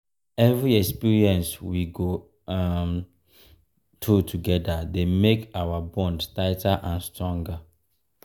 every experience we go um through together dey make our bond tighter and stronger.